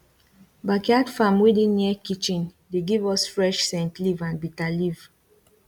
backyard farm wey dey near kitchen dey give us fresh scentleaf and bitter leaf